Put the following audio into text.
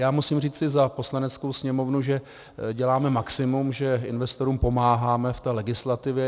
Já musím říci za Poslaneckou sněmovnu, že děláme maximum, že investorům pomáháme v té legislativě.